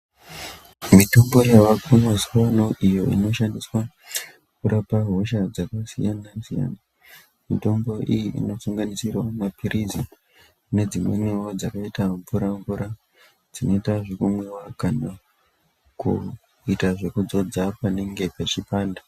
Mitombo yaako mazuwa ano inoshandiswa kurape hosha dzakasiyanasiyana mitombo iyi inosanganisira mapilizi nedzinomwiwa dzakaita mvura-mvura dzinoita zvekumwiwa kana kuita zve kudzodza panenge pechipanda.